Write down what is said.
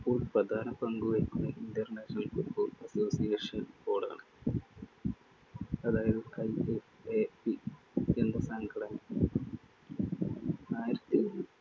ഇപ്പോൾ പ്രധാന പങ്കു വഹിക്കുന്നത്‌ international Football Association Board ആണ്. അതായത് സംഘടന. ആയിരത്തി~